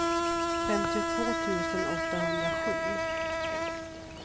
femtiotvå tusen åttahundrasju